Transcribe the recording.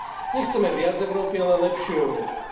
Nechceme viac Európy, ale lepšiu Európu.